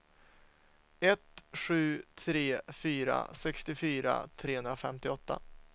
ett sju tre fyra sextiofyra trehundrafemtioåtta